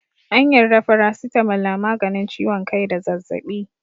An yarda faracitamol na maganin ciwon kai da zazzaɓi.